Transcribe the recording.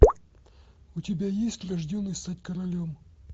у тебя есть рожденный стать королем